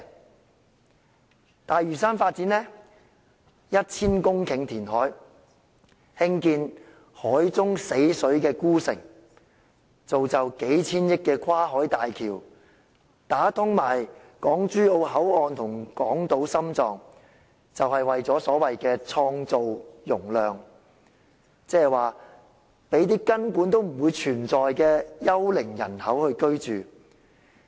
發展東大嶼都會，將要填海 1,000 公頃，興建海中死水孤城，造就數千億元的跨境大橋，連帶港珠澳大橋香港口岸和港島心臟，便是為了所謂的創造容量，即是讓根本不存在的幽靈人口居住。